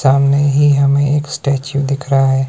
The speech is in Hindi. सामने हीे हमें एक स्टैचू दिख रहा है।